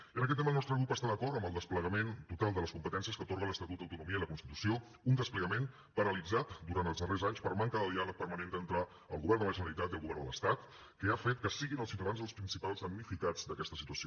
i en aquest tema el nostre grup està d’acord amb el desplegament total de les competències que atorga l’estatut d’autonomia i la constitució un desplegament paralitzat durant els darrers anys per manca de diàleg permanent entre al govern de la generalitat i al govern de l’estat que ha fet que siguin els ciutadans els principals damnificats d’aquesta situació